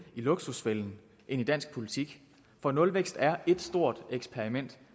i luksusfælden end i dansk politik for nulvækst er et stort eksperiment